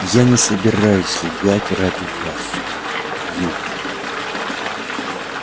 я не собираюсь лгать ради вас ю